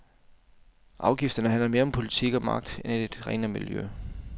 Afgifterne handler mere om politik og magt end et renere miljø.